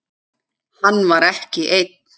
Hann var ekki einn.